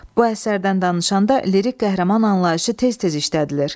Bu əsərdən danışanda lirik qəhrəman anlayışı tez-tez işlədilir.